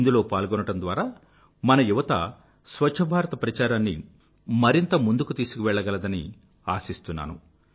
ఇందులో పాల్గొనడం ద్వారా మన యువత స్వఛ్ఛభారత ప్రచారాన్ని మరింత ముందుకు తీసుకువెళ్ళగలదని ఆశిస్తున్నాను